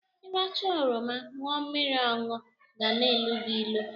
Ịracha oroma ñụọ mmiri ọnụ ga-na-elu gị ilu.